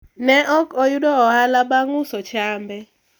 ok ne oyudo ohala bang' uso chambe